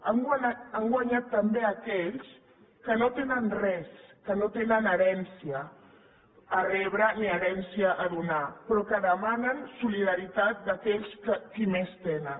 han guanyat també aquells que no tenen res que no tenen herència per rebre ni herència per donar però que demanen solidaritat d’aquells que més tenen